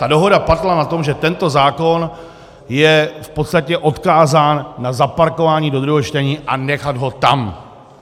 Ta dohoda padla na tom, že tento zákon je v podstatě odkázán na zaparkování do druhého čtení a nechat ho tam.